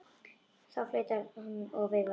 Þá flautar hann og veifar.